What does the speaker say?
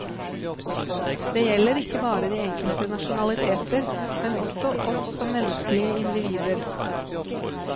Det gjelder ikke bare de enkelte nasjonaliteter, men også oss som menneskelige individer.